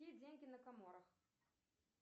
какие деньги на каморах